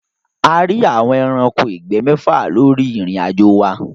A ríi àwọn ẹranko ìgbẹ́ méfà lóri irin-ajo wa.